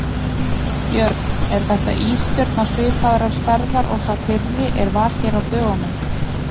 Björn: Er þetta ísbjörn á svipaðrar stærðar og sá fyrri er var hér á dögunum?